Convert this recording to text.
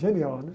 Genial, né?